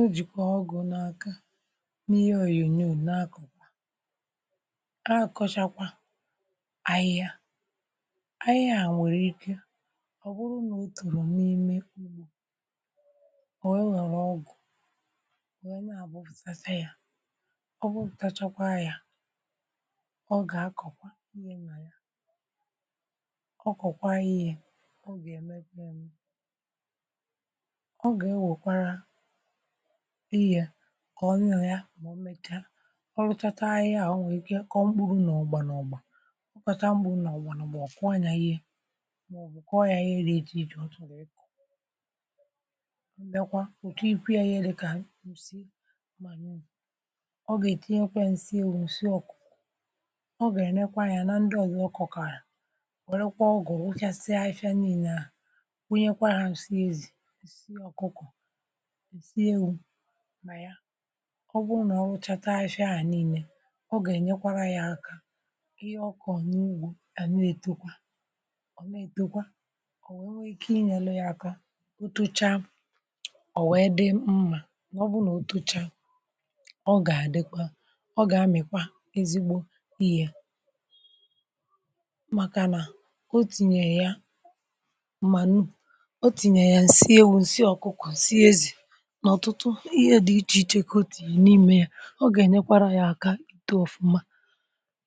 Ọ jìkwà ọgụ̀ na aka n’ihe òyònyò na àkọ̀kwà akọ̀chàkwà ahị hia ahị hia nwèrè ike ọ̀ bụrụ nà o tòrò n’ime ụgbọ ọ wee wèrè ọgụ wèe na abụfụtacha ya ọ gbupùtàchakwa yȧ ọ gà akọ̀kwa ihe nà ya ọ kọ̀kwa ihe ọ ga èmepėmė ọ gà e wèkwara ihe kọọ nà ya mà ọ mẹ̀cha ọ rụchacha ahịhịa à o nwèrè ike kọọ mkpụrụ nà ọ̀gbànọgbà ọ kọ̀cha mpụrụ nà ọ̀gbànọgbà ọ̀kuọ nya ihe màọ̀bụ̀ kụọ ya ihe dị̇ etụ ọ chọrọ ikụ ọ biakwa ọ tikwe yȧ ihe dịkà ǹsị manu ọ gà ètinye kwa ya ǹsị ewụ nsị ọ̀kụkọ ọ gà ẹ̀nẹkwa anyȧ nà ndị ọ̀zọ ọkụ̀kọ̀rà wẹ̀rẹkwa ọgụ̀ rụchàsịa afifia ninȧ wụnyẹkwa hȧ ǹsị ezì nsị ọkụkụ̀ nsi ewụ na ya ọ bụrụ nà ọ rụchacha afifi à nịne ọ gà-ènyekwara ya aka ihe ọkọ̀ n’ugbȯ àna etọkwa ọ̀ nà-ètọkwa ọ̀ wee nwee ike inyelụ̇ ya aka ọtọcha ọ̀ wẹ dị mmȧ n’ọbụrụ nà otọcha ọ gà-àdịkwa ọ gà-amị̀kwa ezigbo ihe màkà nà o tìnyè ya m̀manụ̀ o tìnyè ya ǹsị ewu̇ ǹsị ọ̀kụkụ̀ nsi ezì ǹà ọ̀tụtụ ihe dị̇ ichè ichè ka ọtinye n’ime yȧ ọ gà-ènyekwara yȧ aka itọ ọ̀fụma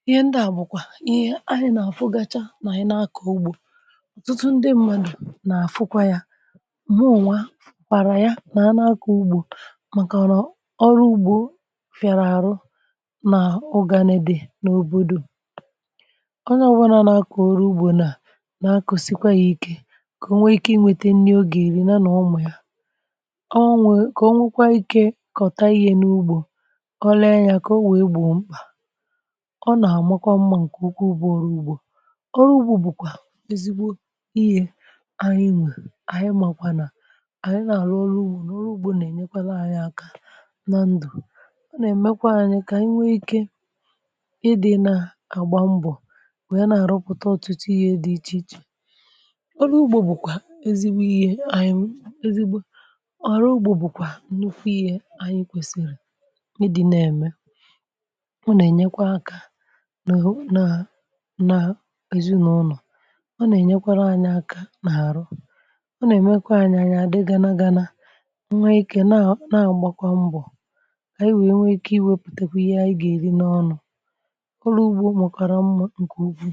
ihe ndịà bụ̀kwà ihe anyi nà-àfụgacha nà anyi na akọ̀ ugbȯ ọ̀tụtụ ndị mmadụ̀ nà-àfụkwa yȧ mụnwa fụkwara ya nà-anakọ̀ ugbȯ màkàna ọ̀rụ ugbȯ fị̀àrà àrụ nà ụgani di n’òbòdò onye ọ̀bụlà nà-akọ̀ oru ùgbò nà nà-akọ̀sikwa yȧ ike kà o nwee ike inwete nni o gà-èri nya nà ụmụ ya ka ọnwekwa ikė kọ̀ta ihe n’ugbȯ ọ lee ya kà ọ wee gbọ mkpà ọ nà àmakwa mmȧ ǹkè ukwu bụ ọrụ ugbȯ ọrụ ugbȯ bùkwà ezigbo ihė anyị nwè ànyị màkwà nà ànyị nà-àrụ ọrụ ugbȯ nà ọrụ ugbȯ nà-enyekwara anyị aka nà ndụ̀ ọ nà-èmekwa anyị kà anyị nwee ike ịdị̇ nà àgba mbọ wee na-àrụpụta ọ̀tụtụ ihė dị ichè ichè ọrụ ugbȯ bùkwà ezigbo ihė anyị ezigbo ọrụ ụgbọ bụkwa nnụkwụ ihe anyị kwèsị̀rị̀ ịdị̇ na-ème ọ na-enyekwa aka na na n’ezinaụ̀nọ ọ na-enyekwara anyị̇ aka n’àrụ ọ na-emekwa anyị̇ anya adị gana gana nwe ikė na a na-agbakwa mbọ̀ ka anyi wee nwe ike iwepùtekwu ihe anyị ga-èri n’ọnụ̇ ọrụ ugbȯ makwara mma nke ụkwụ.